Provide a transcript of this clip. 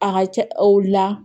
A ka ca o la